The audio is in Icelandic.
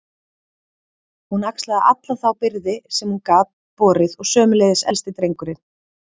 Hún axlaði alla þá byrði sem hún gat borið og sömuleiðis elsti drengurinn.